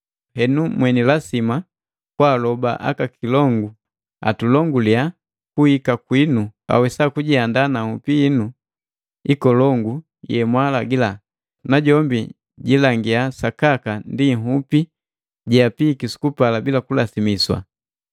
Henu, mweni lasima kwaaloba aka kilongu atulonguliya kuhika kwinu, awesa kujiandaa na nhupi hinu ikolongu yemwalagila, najombi jilangia sakaka ndi nhupi jeapiiki sukupala bila kulasimiswa.